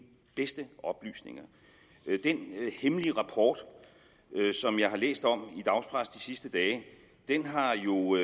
bedste oplysninger den hemmelige rapport som jeg har læst om i dagspressen de sidste dage har jo